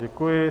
Děkuji.